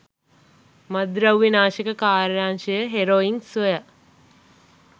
මත්ද්‍රව්‍ය නාශක කාර්යාංශය හෙරොයින් සොය